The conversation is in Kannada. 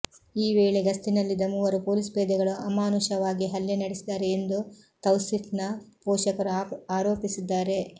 ಈ ವೇಳೆ ಗಸ್ತಿನಲ್ಲಿದ್ದ ಮೂವರು ಪೊಲೀಸ್ ಪೇದೆಗಳು ಅಮಾನುಷವಾಗಿ ಹಲ್ಲೆ ನಡೆಸಿದ್ದಾರೆ ಎಂದು ತೌಸಿಫ್ನ ಪೋಷಕರು ಆರೋಪಿಸಿದ್ದಾರೆ